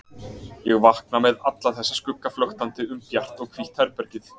Ég vakna með alla þessa skugga flöktandi um bjart og hvítt herbergið.